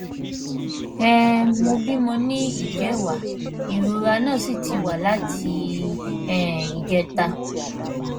um mo bímọ ní ìjẹwàá ìrora náà sì ti wà láti um ìjẹta